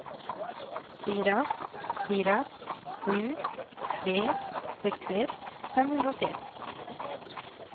fyra fyra sju tre sextioett femhundraåttioett